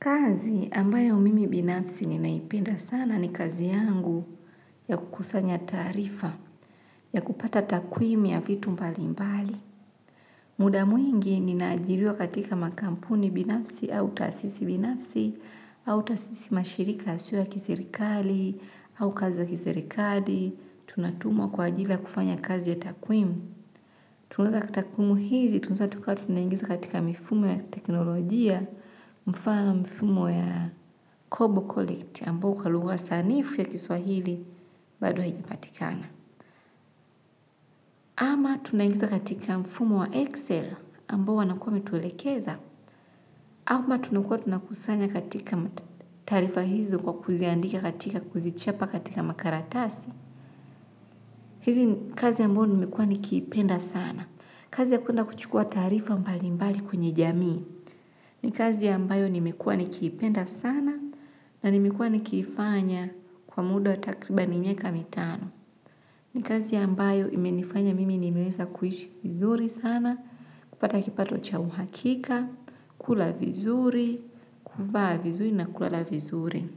Kazi ambayo mimi binafsi ninaipenda sana ni kazi yangu ya kukusanya taarifa ya kupata takwimu ya vitu mbali mbali. Muda mwingi ninaajiliwa katika makampuni binafsi au taasisi binafsi au taasisi mashirika yasiyo ya kiserikali au kazi ya kiserikali. Tunatumwa kwa ajili ya kufanya kazi ya takwimu. Tunaweka katika takwimu hizi, tunaweza tukawa tunaingiza katika mifumo ya teknolojia, mfano mifumo ya Kobo Collect, ambao kwa lugha sanifu ya kiswahili, bado hajipatikana. Ama tunaingiza katika mfumo wa Excel, ambao wanakua wametulekeza, ama tunakuwa tunakusanya katika taarifa hizi kwa kuziandika katika kuzichapa katika makaratasi, hizi kazi ambayo nimekuwa nikiipenda sana. Kazi ya kwenda kuchukua taarifa mbalimbali kwenye jamii. Ni kazi ya ambayo nimekuwa nikiipenda sana na nimekuwa nikiifanya kwa muda takribani miaka mitano. Ni kazi ya ambayo imenifanya mimi nimeweza kuhishi vizuri sana, kupata kipato cha uhakika, kula vizuri, kuvaa vizuri na kulala vizuri.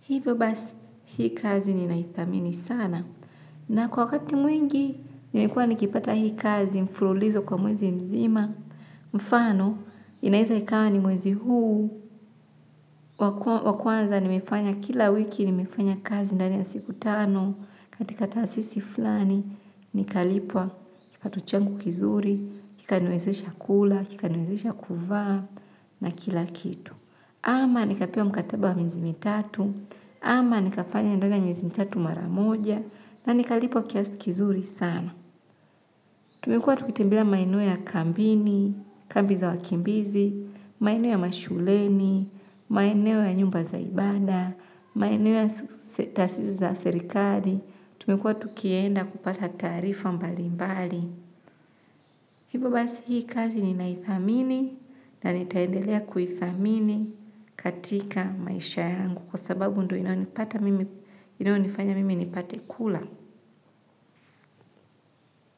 Hivyo basi, hii kazi ninaithamini sana. Na kwa wakati mwingi, nimekuwa nikipata hii kazi mfululizo kwa mwezi mzima, mfano, inaweza ikawa ni mwezi huu. Wa kwanza, nimefanya kila wiki, nimefanya kazi ndani ya siku tano, katika taasisi fulani, nikalipwa, kipato changu kizuri, kikaniwezesha kula, kikaniwezesha kuvaa, na kila kitu. Ama nikapea mkataba wa miezi mitatu, ama nikafanya ndani ya miezi mitatu mara moja na nikalipwa kiasi kizuri sana. Tumekuwa tukitembelea maeneo ya kambini, kambi za wakimbizi, maeneo ya mashuleni, maeneo ya nyumba za ibada, maeneo ya taasisi za serikali. Tumekuwa tukienda kupata taarifa mbali mbali. Hivyo basi hii kazi ninaithamini na nitaendelea kuithamini katika maisha yangu kwa sababu ndo inayonifanya mimi nipate kula.